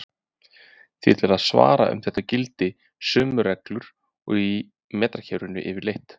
Því er til að svara að um þetta gilda sömu reglur og í metrakerfinu yfirleitt.